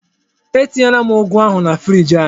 Etinyela m ụ́gù ahụ na friiji anyị.